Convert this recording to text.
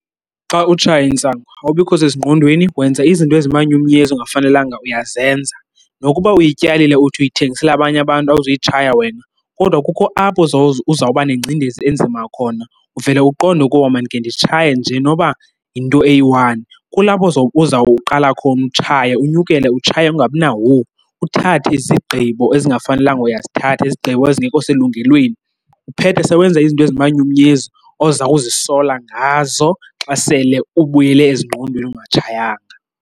Xa utshaya intsangu awubikho sezingqondweni, wenza izinto ezimanyumnyezi ongafanelanga uyazenza. Nokuba uyityalile uthi uyithengisela abanye abantu awuzuyitshaya wena, kodwa kukho apho uzawuba nengcindezi enzima khona uvele uqonde ukuba mandikhe nditshaye nje noba yinto eyi-one. Kulapho uzawuqala khona utshaya unyukele utshaye ungabi na-whoa, uthathe izigqibo ezingafanelanga uyazithatha, izigqibo ezingekho selungelweni. Uphethe sewenza izinto ezimanyumnyezi ozawuzisola ngazo xa sele ubuyele ezingqondweni ungatshayanga.